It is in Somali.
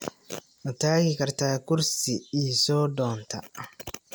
Ma tagi kartaa kursi ii soo doonta?